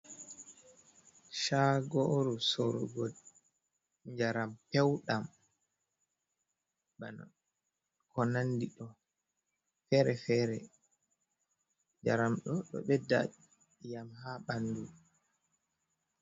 Shaagoru sorrugo njaram pew ɗam, bana ko nandi ɗo feere-feere njaramɗo ɗo ɓedda i'yam haa ɓandu.